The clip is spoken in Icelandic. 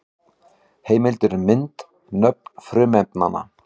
Heimildir og mynd: Nöfn frumefnanna.